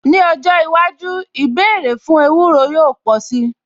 Ní ọjọ́ iwájú, ìbéèrè fún ewúro yóò pò sí.